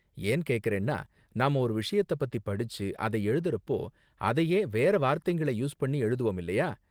ஏன் கேக்கறேன்னா நாம ஒரு விஷயத்த பத்தி படிச்சு அதை எழுதுறப்போ அதையே வேற வார்த்தைங்கள யூஸ் பண்ணி எழுதுவோம் இல்லையா?